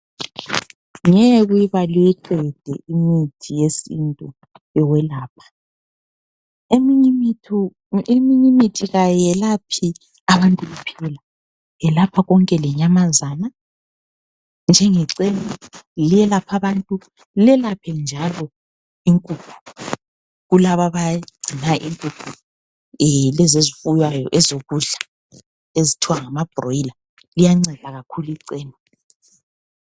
Ngeke uyibale uyiqede imithi yesintu yokwelapha, eminye imithi kayiyelaphi abantu kuphela iyeyalapha konke lenyamazana njengechena lelapha abantu lelaphe njalo inkukhu kulabo abagcina inkukhu lezi ezifuywayo ezokudla ezithiwa ngama broyila liyanceda kakhulu chena.